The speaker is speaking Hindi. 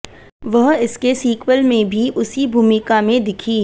वह इसके सीक्वेल में भी उसी भूमिका में दिखीं